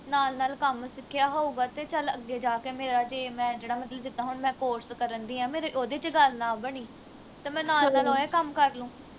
ਨਾਲ ਨਾਲ ਕੰਮ ਸਿੱਖਿਆ ਹੋਊਗਾ ਤੇ ਚੱਲ ਅੱਗੇ ਜਾ ਕੇ ਮੇਰਾ ਜੇ ਮੈਂ ਜਿਹੜਾ ਮਤਲਬ ਜਿੱਦਾ ਹੁਣ ਮੈਂ course ਕਰਨ ਦਈ ਆ ਮੇਰੇ ਉਹਦੇ ਵਿਚ ਗੱਲ ਨਾ ਬਣੀ ਤੇ ਮੈਂ ਨਾਲ ਨਾਲ ਇਹੋ ਕੰਮ ਕਰਲੂ